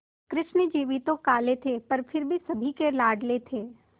कृष्ण जी भी तो काले थे पर फिर भी सभी के लाडले थे